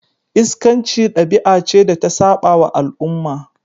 Iskanci dabi'a ce da ta sabawa al'umma.